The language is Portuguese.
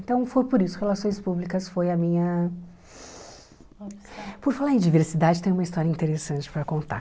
Então, foi por isso que Relações Públicas foi a minha... Por falar em diversidade, tem uma história interessante para contar.